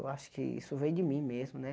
Eu acho que isso veio de mim mesmo, né?